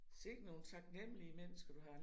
Sikke nogle taknemmelige mennesker du har